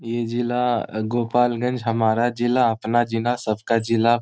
ये जिला गोपालगंज हमारा जिला अपना जिला सबका जिला।